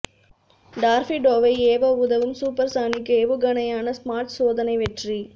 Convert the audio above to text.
டார்பிடோவை ஏவ உதவும் சூப்பர்சானிக் ஏவுகணையான ஸ்மார்ட் சோதனை வெற்றி